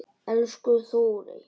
Elsku Þórey.